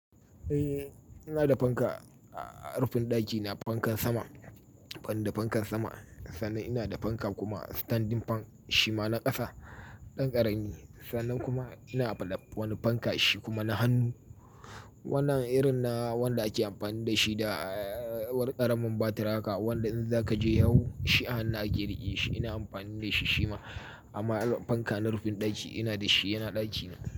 Eh ina da fanka, a rufin ɗaki ina da fankan sama, ban da fankan sama. Sannan ina da fanka kuma standing fan shima na ƙasa, ɗan ƙarami. Sannan kuma ina da wani fanka shi kuma na hannu. Wannan irin na wanda ake amfani da shi da ƙaramin batir haka wanda in za ka je yawo shi a hannu ake riƙe shi. Ina amfani da shi shima amma fanka na rufin ɗaki ina da shi yana ɗakina.